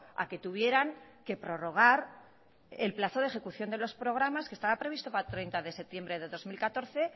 a que tuvieran que prologar el plazo de ejecución de los programas que estaba previsto para el treinta de septiembre del dos mil catorce